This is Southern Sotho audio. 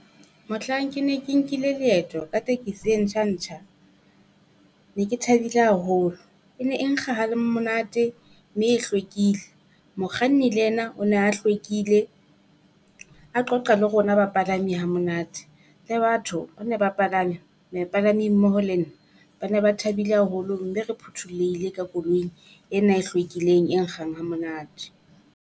Mohlang ke ne ke nkile leeto ka tekesi e ntjha ntjha, ne ke thabile haholo e ne e nkga ha lemonate mme e hlwekile. Mokganni le ena o ne a hlwekile, a qoqa le rona bapalami ha monate. Le batho ba ne ba palame, mepalami mmoho le nna ba ne ba thabile haholo, mme re phuthulohile ka koloing ena e hlwekileng e nkgang ha monate.